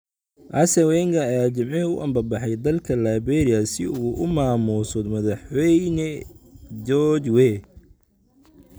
Arsène Wenger ayaa Jimcihii u ambabaxay dalka Liberia si uu u maamuuso madaxweyne George Weah